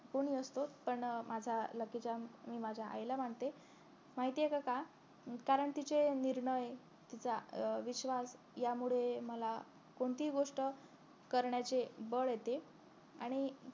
कोणी असो पण माझा lucky charm मी माझ्या आईला मानते माहितीय का कारण तिचे निर्णय तिचा अं विश्वास यामुळे मला कोणतीही गोष्ट करण्याचे बळ येते आणि